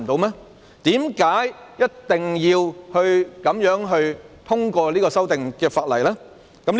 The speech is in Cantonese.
為甚麼一定要這樣通過這項法例修訂呢？